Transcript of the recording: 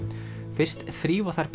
fyrst þrífa þær